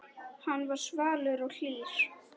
Hann var svalur og hlýr.